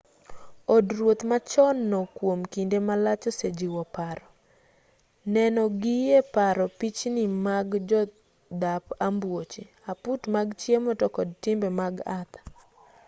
od ruoth machon no kuom kinde malach osejiwo paro neno gie paro pichni mag jodhap ambuoche aput mag chiemo to kod timbe mag arthur